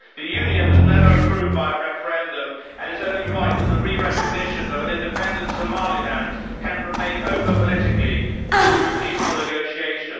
The union was never approved by a referendum and it is only right that the re recognition of an independent Somaliland can remain open politically through peaceful negotiation.